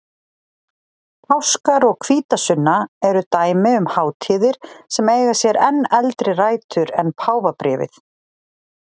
Páskar og hvítasunna eru dæmi um hátíðir sem eiga sér enn eldri rætur en páfabréfið.